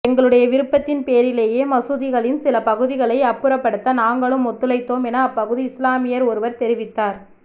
எங்களுடைய விருப்பத்தின் பேரிலேயே மசூதிகளின் சில பகுதிகளை அப்புறப்படுத்த நாங்களும் ஒத்துழைத்தோம் என அப்பகுதி இஸ்லாமியர் ஒருவர் தெரிவித்தார்